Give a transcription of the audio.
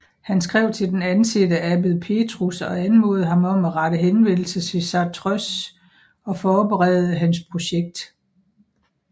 Han skrev til den ansete abbed Petrus og anmodede ham om at rette henvendelse til Chartreuse og forberede hans projekt